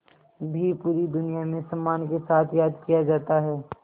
भी पूरी दुनिया में सम्मान के साथ याद किया जाता है